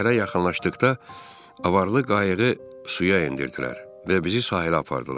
Şəhərə yaxınlaşdıqda avarlı qayığı suya endirdilər və bizi sahilə apardılar.